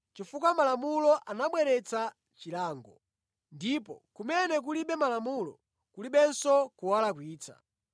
chifukwa Malamulo anabweretsa chilango. Ndipo kumene kulibe Malamulo kulibenso kuwalakwitsa.